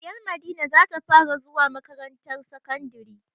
Ɗiyar Madina za ta fara zuwa makarantar sakandari.